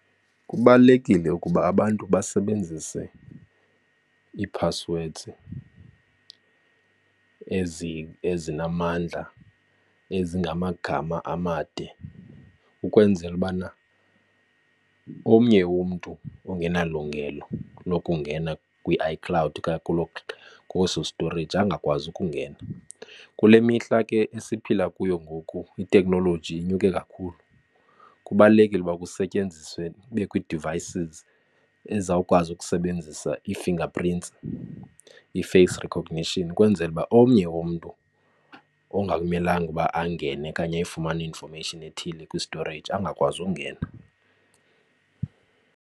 Kubalulekile ukuba abantu basebenzise ii-passwords ezinamandla ezingamagama amade ukwenzela ubana omnye umntu ongenalungelo lokungena kwi-iCloud okanye kweso storage angakwazi ukungena. Kule mihla ke esiphila kuyo ngoku iteknoloji inyuke kakhulu. Kubalulekile uba kusetyenziswe, kubekho ii-devices ezizawukwazi ukusebenzisa ii-fingerprints, ii-face recognition ukwenzela uba omnye umntu ongakumelanga ukuba angene okanye ayifumane i-information ethile kwi-storage angakwazi ungena.